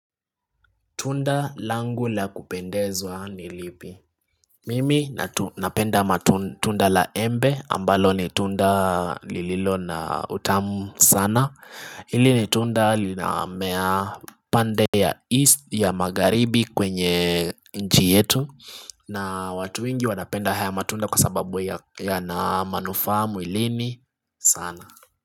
Tunda langu la kupendezwa ni lipi Mimi napenda matunda la embe ambalo ni tunda lililo na utamu sana Hili ni tunda linamea pande ya magharibi kwenye nji yetu na watu wengi wanapenda haya matunda kwa sababu yana manufaa mwilini sana.